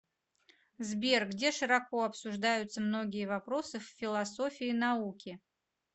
сбер где широко обсуждаются многие вопросы в философии науки